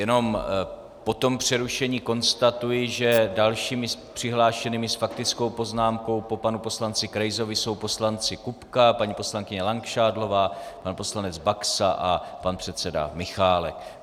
Jenom po tom přerušení konstatuji, že dalšími přihlášenými s faktickou poznámkou po panu poslanci Krejzovi jsou poslanci Kupka, paní poslankyně Langšádlová, pan poslanec Baxa a pan předseda Michálek.